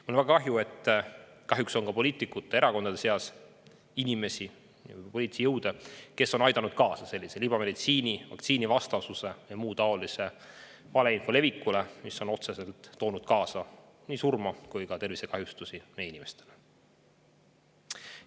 Mul on väga kahju, et kahjuks on ka poliitikute seas ja erakondades inimesi, poliitilisi jõude, kes on aidanud kaasa libameditsiini, vaktsiinivastasuse ja muu taolise valeinfo levikule, mis on otseselt toonud kaasa nii surma kui ka tervisekahjustusi meie inimestele.